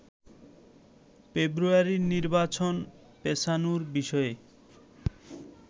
ফেব্রুয়ারির নির্বাচন পেছানোর বিষয়ে